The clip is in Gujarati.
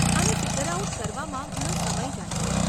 આને ફિગર આઉટ કરવામાં ઘણો સમય જાય છે.